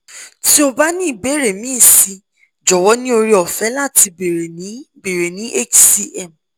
ti o ba ni ibeere mi si jowo ni ore ofe lati beere ni beere ni hcm